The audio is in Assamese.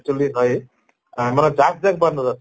actually হয় আহ মানে জাক জাক বান্দৰ আছে